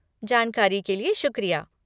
जानकारी के लिए शुक्रिया।